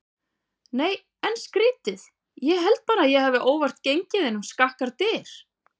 Nei en skrítið ég held bara að ég hafi óvart gengið inn um skakkar dyr.